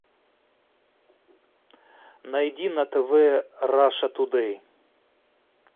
найди на тв раша тудей